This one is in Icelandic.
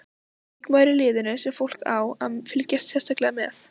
Leikmaður í liðinu sem fólk á að fylgjast sérstaklega með?